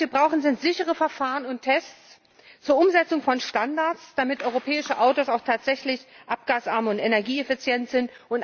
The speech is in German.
Was wir brauchen, sind sichere Verfahren und Tests zur Umsetzung von Standards, damit europäische Autos auch tatsächlich abgasarm und energieeffizient sind.